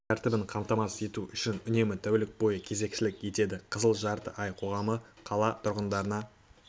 тәртібін қамтамасыз ету үшін үнемі тәулік бойы кезекшілік етеді қызыл жарты ай қоғамы қала тұрғындарына